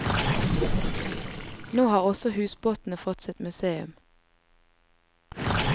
Nå har også husbåtene fått sitt museum.